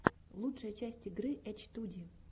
лучшая часть игры эчтуди